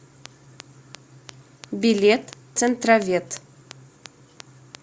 билет центровет